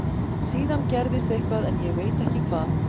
Síðan gerðist eitthvað en ég veit ekki hvað.